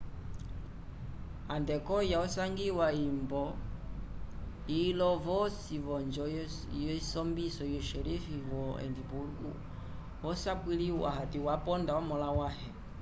adekoiya osangiwa itombo ilo yosi v'onjo yesombiso yu xerife wo edimburgo wosapwiliwa hati waponda omõla wãhe